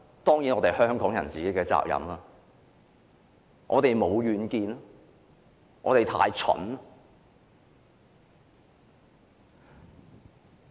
當然是香港人的責任，因為我們沒有遠見，我們太蠢。